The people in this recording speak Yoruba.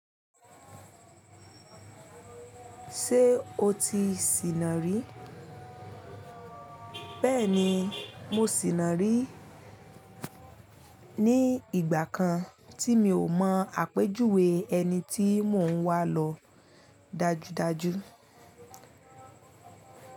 Ṣé o ti sìnà rí? Bẹ́ẹ̀ni, mo sìnà rí ní ìgbà kan tí mi ò mọ àpèjúwe ẹni tí mò ń wà lọ dájúdájú.